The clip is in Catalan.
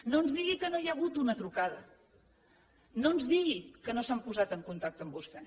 no ens digui que no hi ha hagut una trucada no ens digui que no s’han posat en contacte amb vostè